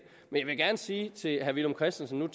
men jeg vil gerne sige til herre villum christensen at